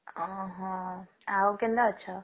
ଅହଃ ଆଉ କେନ୍ତା ଅଛ?